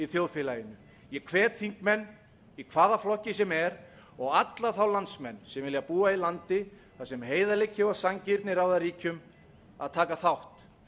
þjóðfélaginu ég hvet þingmenn í hvaða flokki sem er og alla þá landsmenn sem vilja búa í landi þar sem heiðarleiki og sanngirni ráða ríkjum að taka þátt